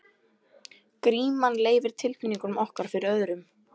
Gríman leynir tilfinningum okkar fyrir öðrum.